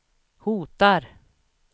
hotar